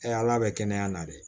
ala bɛ kɛnɛya na dɛ